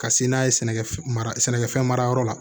Ka se n'a ye sɛnɛkɛfɛn mara sɛnɛkɛfɛn mara yɔrɔ la